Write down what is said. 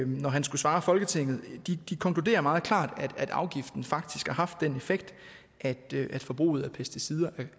når han skulle svare folketinget konkluderer meget klart at afgiften faktisk har haft den effekt at forbruget af pesticider